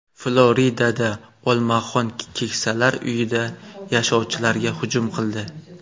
Floridada olmaxon keksalar uyida yashovchilarga hujum qildi.